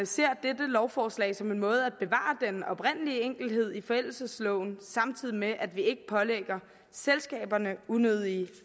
ser dette lovforslag som en måde at bevare den oprindelige enkelhed i forældelsesloven samtidig med at vi ikke pålægger selskaberne unødige